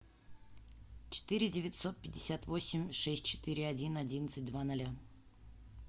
четыре девятьсот пятьдесят восемь шесть четыре один одиннадцать два ноля